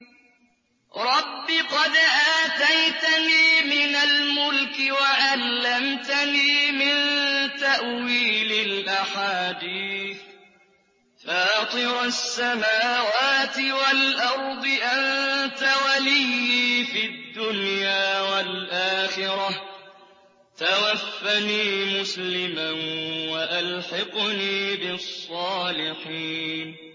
۞ رَبِّ قَدْ آتَيْتَنِي مِنَ الْمُلْكِ وَعَلَّمْتَنِي مِن تَأْوِيلِ الْأَحَادِيثِ ۚ فَاطِرَ السَّمَاوَاتِ وَالْأَرْضِ أَنتَ وَلِيِّي فِي الدُّنْيَا وَالْآخِرَةِ ۖ تَوَفَّنِي مُسْلِمًا وَأَلْحِقْنِي بِالصَّالِحِينَ